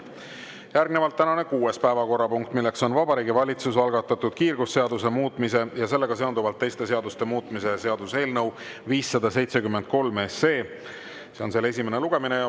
Järgnevalt tänane kuues päevakorrapunkt, milleks on Vabariigi Valitsuse algatatud kiirgusseaduse muutmise ja sellega seonduvalt teiste seaduste muutmise seaduse eelnõu 573 esimene lugemine.